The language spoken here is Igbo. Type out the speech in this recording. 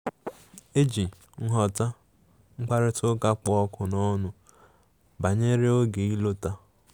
E ji nghọta mkparịta ụka kpụ ọkụ n'ọnụ banyere oge ịlọta.